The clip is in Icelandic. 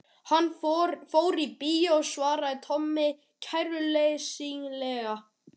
Hann fór í bíó svaraði Tommi kæruleysislega.